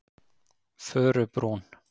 Furubrún